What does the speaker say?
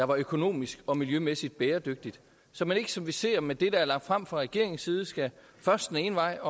var økonomisk og miljømæssigt bæredygtigt så man ikke som vi ser med det der er lagt frem fra regeringens side skal først den ene vej